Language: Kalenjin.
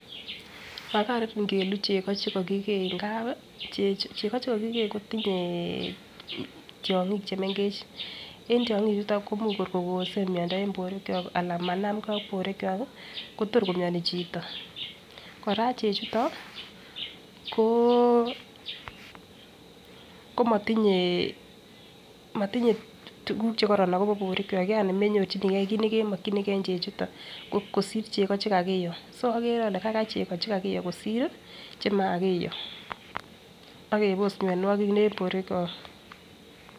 Makaran ngeluu chego chkokikee ngap chego chekokikee kotinyee tyongik chemengech en tyongik chuton ko imuch kor kokosem miondo en borwek kyok anan manamgee ak borwek kyok Kotor komioni chito. Koraa chechuton koo komotinye motinye tukuk chekoron akobo borwek kyok yani menyorchinigee kit nekemokinigee en chechuton kosir chego chekakiyo so okere ole kaigai chego kosir chekakiyo akebosionwokik en borwek kyok.